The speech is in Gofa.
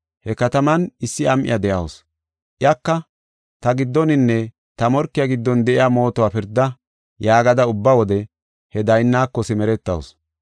He kataman issi am7iya de7awusu. Iyaka, ‘Ta giddoninne ta morkiya giddon de7iya mootuwa pirda’ yaagada ubba wode he daynnaako simeretawusu.